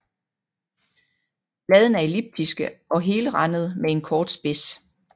Bladene er elliptiske og helrandede med en kort spids